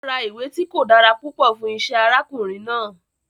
Ó ra ìwé tí kò dára púpọ̀ fún isẹ́ arákùnrin náà